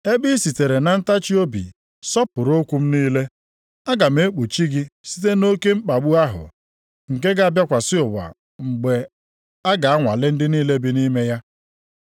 Ebe i sitere na ntachiobi sọpụrụ okwu m niile, aga m ekpuchi gị site nʼoke mkpagbu ahụ, nke ga-abịakwasị ụwa mgbe a ga-anwale ndị niile bi nʼime ya.